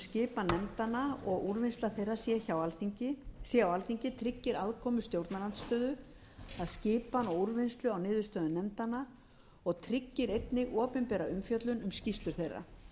skipan nefndanna og úrvinnsla þeirra sé á alþingi tryggir aðkomu stjórnarandstöðu að skipan og úrvinnslu á niðurstöðum nefndanna og tryggir einnig opinbera umfjöllun um skýrslur þeirra